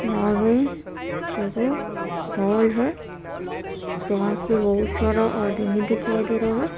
यहाँ पे एगो हॉल है जहाँ पे बहुत सारा आदमी दिखाई दे रहा है।